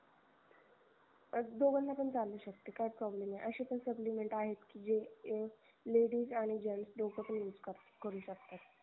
हा दोघांना पण चालू शकते काही problem नाही अशे पण supplement आहेत की जे हे ladies आणि gents दोघपण use करू शकतात